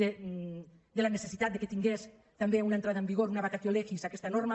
de la necessitat que tingués també una entrada en vigor una vacatio legis aquesta norma